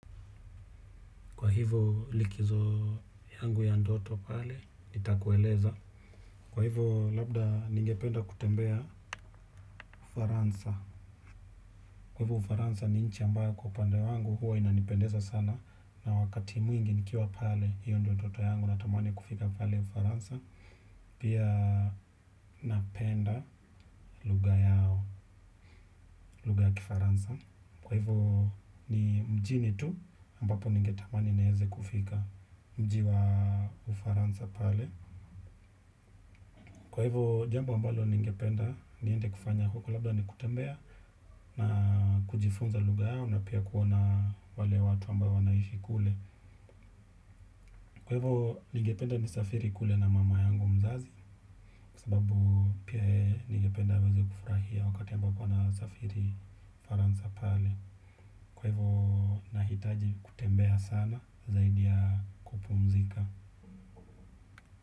Kwa hivyo likizo yangu ya ndoto pale, nitakueleza. Kwa hivyo labda ningependa kutembea ufaransa. Kwa hivyo ufaransa ni nchi ambayo kwa upande wangu huwa inanipendeza sana. Na wakati mwingi nikiwa pale, hiyo ndo ndoto yangu natamani kufika pale ufaransa. Pia napenda lugha yao, lugha ya kifaransa. Kwa hivyo ni mjini tu ambapo ningetamani nieze kufika mji wa ufaransa pale. Kwa hivyo, jambo mbalo ningependa, niende kufanya huko labda ni kutembea na kujifunza lugha yao na pia kuona wale watu ambao wanaishi kule. Kwa hivyo, jambo mbalo ningependa, niende kufanya huko labda ni kutembea na kujifunza lugha yao na pia kuona wale watu ambao wanaishi kule. Kwa hivyo, nahitaji kutembea sana zaidi ya kupumzika.